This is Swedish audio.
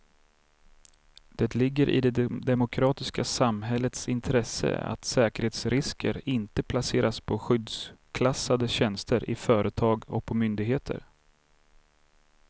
Det ligger i det demokratiska samhällets intresse att säkerhetsrisker inte placeras på skyddsklassade tjänster i företag och på myndigheter.